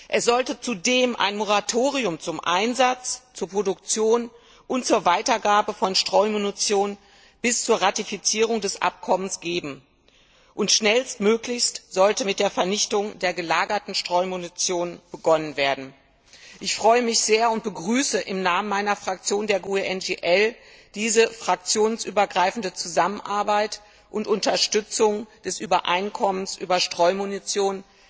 Es sollte zudem ein Moratorium zum Einsatz, zur Produktion und zur Weitergabe von Streumunition bis zur Ratifizierung des Abkommens geben, und schnellstmöglich sollte mit der Vernichtung der gelagerten Streumunition begonnen werden. Ich freue mich sehr und begrüße im Namen meiner Fraktion, der GUE NGL, diese fraktionsübergreifende Zusammenarbeit und Unterstützung des Übereinkommens über Streumunition